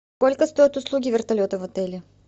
сколько стоят услуги вертолета в отеле